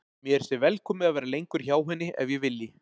Mér sé velkomið að vera lengur hjá henni ef ég vilji.